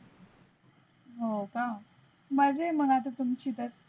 हो का मज़ा आहे मग तुमची तर.